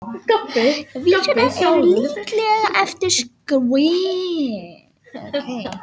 Vísurnar eru líklega eftir skrifarann og listamanninn sjálfan, Jakob